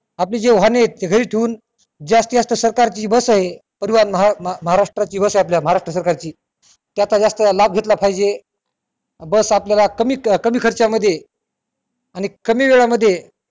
आपली जी वाहने घरी ठेऊन जास्तीत जास्त सरकार ची जी बस आहे परिवहन महा महारष्ट्रा ची बस आहे आपल्या महारष्ट्रा सरकारची त्याचा जास्त लाभ घेतला पाहजे बस आपल्याला कमी कमी खर्च्यात मध्ये आणि कमी वेळामध्ये